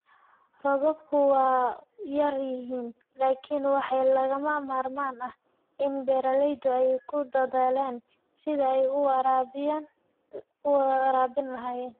Roobabku waa yar yihiin, laakiin waxaa lagama maarmaan ah in beeralaydu ay ku dadaalaan sidii ay u waraabin lahaayeen